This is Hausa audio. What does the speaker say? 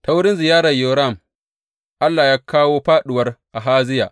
Ta wurin ziyarar Yoram, Allah ya kawo fāɗuwar Ahaziya.